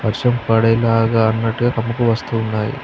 వర్షం పడే లాగా అన్నట్టుగా కమ్ముకు వస్తున్నాయి.